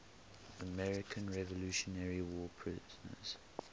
american revolutionary war prisoners